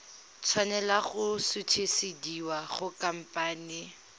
tshwanela go sutisediwa go khamphane